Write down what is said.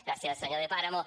gràcies senyor de páramo